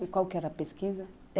E qual que era a pesquisa?